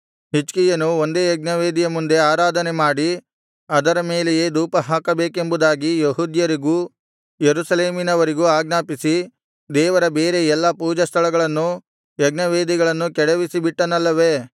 ಹಿಜ್ಕೀಯನು ಒಂದೇ ಯಜ್ಞವೇದಿಯ ಮುಂದೆ ಆರಾಧನೆ ಮಾಡಿ ಅದರ ಮೇಲೆಯೇ ಧೂಪಹಾಕಬೇಕೆಂಬುದಾಗಿ ಯೆಹೂದ್ಯರಿಗೂ ಯೆರೂಸಲೇಮಿನವರಿಗೂ ಆಜ್ಞಾಪಿಸಿ ದೇವರ ಬೇರೆ ಎಲ್ಲಾ ಪೂಜಾಸ್ಥಳಗಳನ್ನೂ ಯಜ್ಞವೇದಿಗಳನ್ನೂ ಕೆಡವಿಸಿ ಬಿಟ್ಟನಲ್ಲವೆ